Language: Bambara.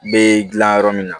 Bɛ dilan yɔrɔ min na